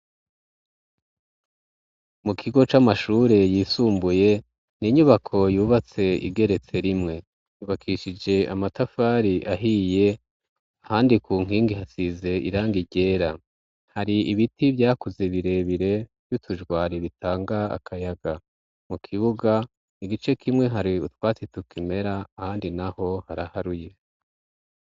Mu kigo c'amashure yisumbuye ni inyubako yubatse igeretse rimwe yubakishije amatafari ahiye handi ku nkingi hasize irangi ryera. Hari ibiti vyakuze birebire by'utujwari bitanga akayaga mu kibuga igice kimwe hari utwatsi tukimera handi naho haraharuye.